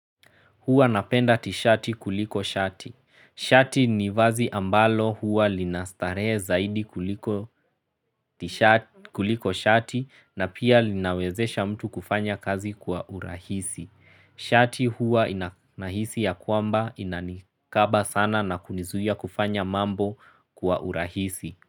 Huwa napenda tishati kuliko shati. Shati ni vazi ambalo huwa linastaree zaidi kuliko shati na pia linawezesha mtu kufanya kazi kwa urahisi. Shati huwa inahisi ya kwamba inanikaba sana na kunizuia kufanya mambo kwa urahisi.